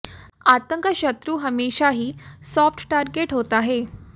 आतंक का शत्रु हमेशा ही सॉफ्ट टारगेट होता है